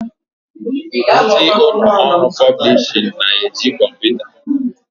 Ndị ụlọ ọrụ pọblishin na eji kọmputa